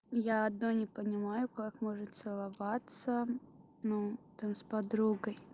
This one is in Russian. я одно не понимаю как можно целоваться ну там с подругой